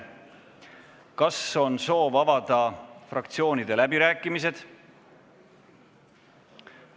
Kas on soov avada fraktsioonide läbirääkimised?